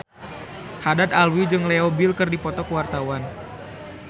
Haddad Alwi jeung Leo Bill keur dipoto ku wartawan